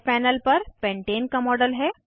यह पैनल पर पेन्टेन का मॉडल है